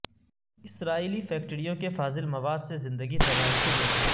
اسرائیلی فیکٹریوں کے فاضل مواد سے زندگی تباہی سے دوچار